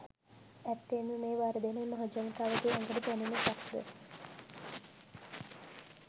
ඇත්තෙන්ම මේ වර්ධනය මහජනතාවගේ ඇඟට දැනෙන එකක්ද?